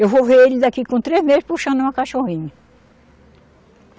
Eu vou ver ele daqui com três meses puxando uma cachorrinha.